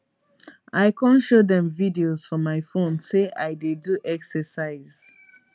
i kon show dem videos for my phone say i dey do exercise